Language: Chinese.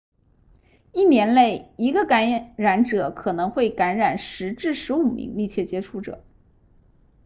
一年内一个感染者可能会感染10至15名密切接触者